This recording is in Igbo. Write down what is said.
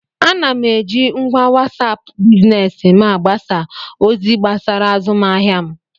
Ana m eji ngwa wasap biznes m agbasa ozi gbasara azụmahịa m